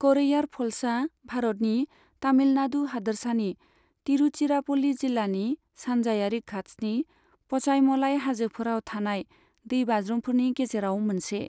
करैयार फल्सआ भारतनि, तामिलनाडु हादोरसानि, तिरुचिरापल्ली जिल्लानि, सानजायारि घात्सनि पचाईमलाई हाजोफोराव थानाय दैबाज्रुमफोरनि गेजेराव मोनसे।